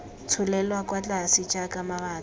tsholelwa kwa tlase jaaka mabaka